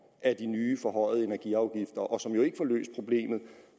af de nye forhøjede energiafgifter og som jo ikke får løst problemet